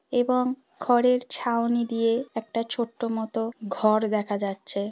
এবং খড়ের ছাউনি দিয়ে একটা ছোট্ট মতো ঘর দেখা যাচ্ছে।